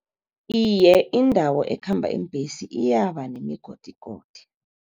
Iye, indawo ekhamba iimbesi iyaba nemigodigodi.